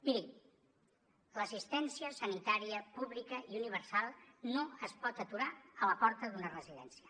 mirin l’assistència sanitària pública i universal no es pot aturar a la porta d’una residència